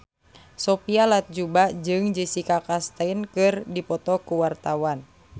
Sophia Latjuba jeung Jessica Chastain keur dipoto ku wartawan